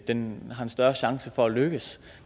en større chance for at lykkes